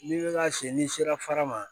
N'i bɛ ka si n'i sera fara ma